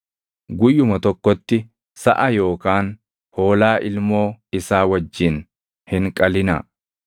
Guyyuma tokkotti, saʼa yookaan hoolaa ilmoo isaa wajjin hin qalinaa.